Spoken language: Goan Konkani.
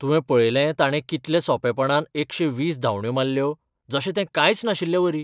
तुवें पळयलें ताणें कितले सोंपेपणान एकशे वीस धांवड्यो मारल्यो, जशें तें कांयच नाशिल्लेवरी.